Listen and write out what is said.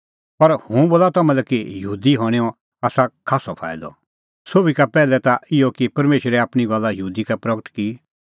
पर हुंह बोला तम्हां लै कि यहूदी हणैंओ आसा खास्सअ फाईदअ सोभी का पैहलै ता इहअ कि परमेशरै आपणीं गल्ला यहूदी का की प्रगट